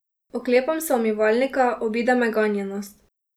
Oklepam se umivalnika, obide me ganjenost.